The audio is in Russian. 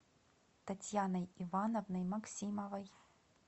татьяной ивановной максимовой